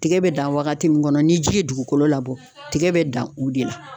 Tigɛ bɛ dan wagati min kɔnɔ ni ji ye dugukolo labɔ tigɛ bɛ dan o de la